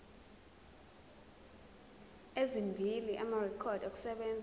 ezimbili amarekhodi okusebenza